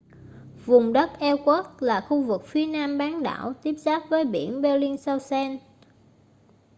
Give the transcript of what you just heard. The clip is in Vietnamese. vùng đất ellsworth là khu vực phía nam bán đảo tiếp giáp với biển bellingshausen